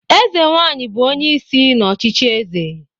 Eze nwanyị bụ onye isi n'ọchịchị eze